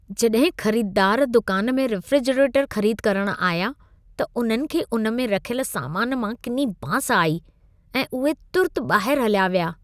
जॾहिं ख़रीददार दुकान में रेफ़्रिजरेटर ख़रीद करण आया, त उन्हनि खे उन में रखियल सामान मां किनी बांस आई ऐं उहे तुर्त ॿाहिर हलिया विया।